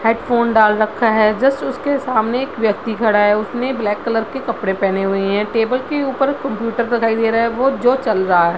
Headphone डाल रखा है जस्ट उसके सामने एक व्यक्ति खड़ा है उसने ब्लैक कलर के कपड़े पेहने हुए हैं टेबल के ऊपर कंप्यूटर दिखाई दे रहा है वो जो चल रहा है।